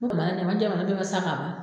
O kuma sa ka ban.